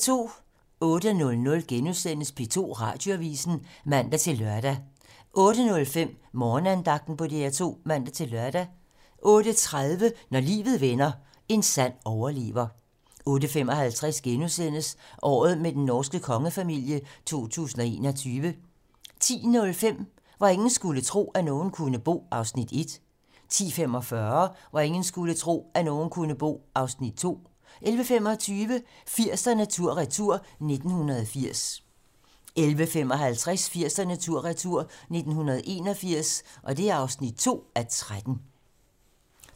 08:00: P2 Radioavisen *(man-lør) 08:05: Morgenandagten på DR2 (man-lør) 08:30: Når livet vender - en sand overlever 08:55: Året med den norske kongefamilie 2021 * 10:05: Hvor ingen skulle tro, at nogen kunne bo (Afs. 1) 10:45: Hvor ingen skulle tro, at nogen kunne bo (Afs. 2) 11:25: 80'erne tur-retur: 1980 11:55: 80'erne tur-retur: 1981 (2:13)